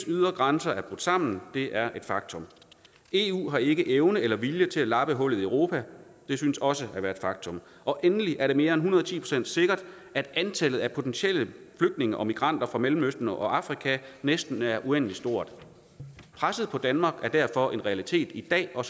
ydre grænser er brudt sammen det er et faktum eu har ikke evne eller vilje til at lappe hullet i europa det synes også at være et faktum endelig er det mere end en hundrede og ti procent sikkert at antallet af potentielle flygtninge og migranter fra mellemøsten og afrika næsten er uendelig stort presset på danmark er derfor en realitet i dag og